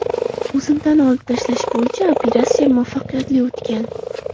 O‘simtani olib tashlash bo‘yicha operatsiya muvaffaqiyatli o‘tgan.